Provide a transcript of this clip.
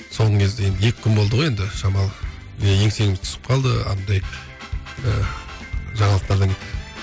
соңғы кезде енді екі күн болды ғой енді шамалы еңсеміз түсіп қалды андай ыыы жаңалықтардан